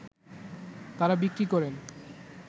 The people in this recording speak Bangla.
তারা বিক্রি করেন